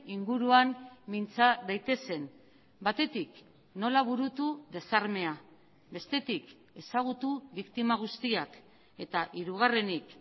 inguruan mintza daitezen batetik nola burutu desarmea bestetik ezagutu biktima guztiak eta hirugarrenik